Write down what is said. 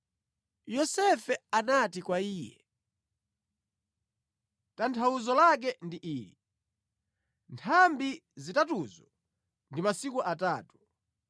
Yosefe anati kwa iye, “Tanthauzo lake ndi ili: Nthambi zitatuzo ndi masiku atatu.